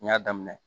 N y'a daminɛ